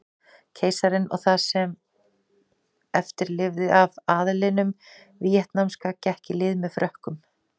Keisarinn og það sem eftir lifði af aðlinum víetnamska gekk í lið með Frökkum.